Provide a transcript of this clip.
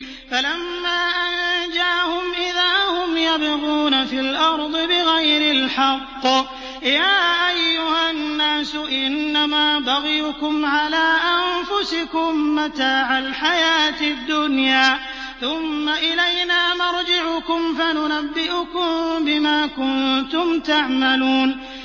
فَلَمَّا أَنجَاهُمْ إِذَا هُمْ يَبْغُونَ فِي الْأَرْضِ بِغَيْرِ الْحَقِّ ۗ يَا أَيُّهَا النَّاسُ إِنَّمَا بَغْيُكُمْ عَلَىٰ أَنفُسِكُم ۖ مَّتَاعَ الْحَيَاةِ الدُّنْيَا ۖ ثُمَّ إِلَيْنَا مَرْجِعُكُمْ فَنُنَبِّئُكُم بِمَا كُنتُمْ تَعْمَلُونَ